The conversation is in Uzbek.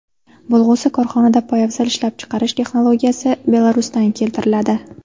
Bo‘lg‘usi korxonada poyabzal ishlab chiqarish texnologiyasi Belarusdan keltiriladi.